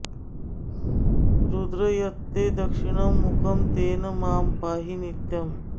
रुद्र यत्ते दक्षिणं मुखं तेन मां पाहि नित्यम्